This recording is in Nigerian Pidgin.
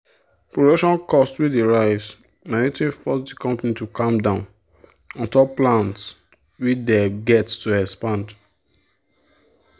production cost wey dey rise na wetin force the company to calm down untop plans wey them get to expand.